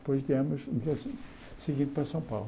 depois viemos seguir para São Paulo.